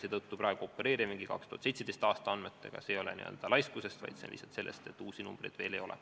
Seetõttu see, et me praegu opereerime 2017. aasta andmetega, ei tulene laiskusest, vaid lihtsalt sellest, et uusi numbreid veel ei ole.